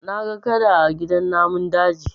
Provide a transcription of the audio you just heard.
Na ga Kada a gidan namun daji